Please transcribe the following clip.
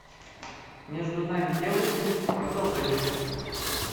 между нами девочками продолжение